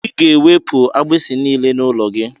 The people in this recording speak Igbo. Ị ga-ewepụ agbisi niile nọ n'ụlọ gị.